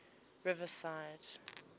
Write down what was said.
riverside